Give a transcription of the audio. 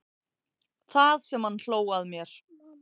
Það sem hann hló að mér.